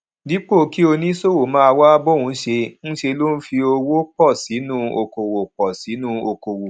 dípò kí oníṣòwò máa wá bóun ṣe ńṣe ló fi owó pò sínú okòwò pò sínú okòwò